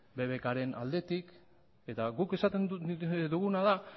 bbk ren aldetik eta guk esaten duguna da